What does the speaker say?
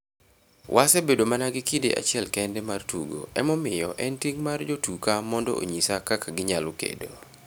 Wasebedo mana gi kinde achiel kende mar tugo emomiyo en ting' mar jotuka mondo onyisa kaka kinyalo kedo.